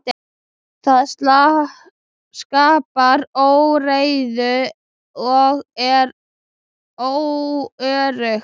Það skapar óreiðu og er óöruggt.